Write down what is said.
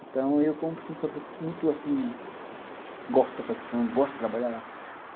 Então, eu como sinto que é uma pessoa que muito, assim, gosta da profissão, gosta de trabalhar.